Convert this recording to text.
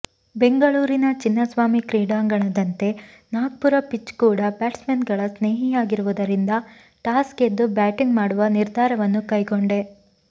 ಬೆಂಗಳೂರಿನ ಚಿನ್ನಸ್ವಾಮಿ ಕ್ರೀಡಾಂಗಣದಂತೆ ನಾಗ್ಪುರ ಪಿಚ್ ಕೂಡ ಬ್ಯಾಟ್ಸ್ಮನ್ಗಳ ಸ್ನೇಹಿಯಾಗಿರುವುದರಿಂದ ಟಾಸ್ ಗೆದ್ದು ಬ್ಯಾಟಿಂಗ್ ಮಾಡುವ ನಿರ್ಧಾರವನ್ನು ಕೈಗೊಂಡೆ